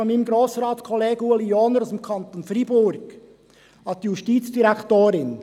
Dieser geht von meinem Grossratskollegen Ueli Johner aus dem Kanton Freiburg an die Justizdirektorin.